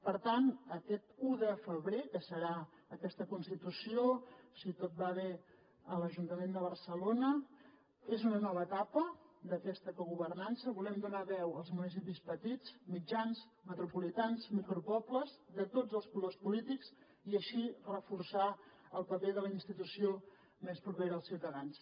per tant aquest un de febrer que serà aquesta constitució si tot va bé a l’ajuntament de barcelona és una nova etapa d’aquesta cogovernança volem donar veu als municipis petits mitjans metropolitans micropobles de tots els colors polítics i així reforçar el paper de la institució més propera als ciutadans